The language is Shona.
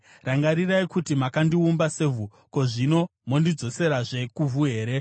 Rangarirai kuti makandiumba sevhu. Zvino mondidzoserazve kuvhu here?